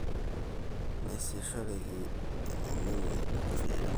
Naasishoreki eitengeni ilkulie aremok